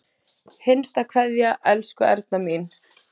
HINSTA KVEÐJA Elsku Erna mín.